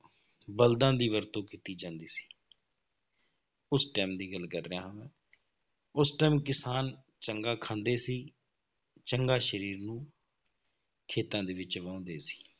ਬਲਦਾਂ ਦੀ ਵਰਤੋਂ ਕੀਤੀ ਜਾਂਦੀ ਸੀ ਉਸ time ਦੀ ਗੱਲ ਕਰ ਰਿਹਾ ਹਾਂ ਮੈਂ, ਉਸ time ਕਿਸਾਨ ਚੰਗਾ ਖਾਂਦੇ ਸੀ ਚੰਗਾ ਸਰੀਰ ਨੂੰ ਖੇਤਾਂ ਦੇ ਵਿੱਚ ਵਾਹੁੰਦੇ ਸੀ,